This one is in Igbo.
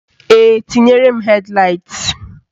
Ee, tinyere m hed laịt